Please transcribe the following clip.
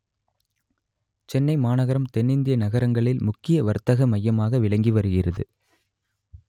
சென்னை மாநகரம் தென்னிந்திய நகரங்களில் முக்கிய வர்த்தக மையாமாக விளங்கி வருகிறது